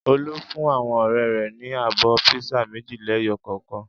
Olú fún àwọn ọ̀rẹ́ rẹ̀ ní abọ́ písà méjì lẹ́yọ kọ̀ọ̀kan.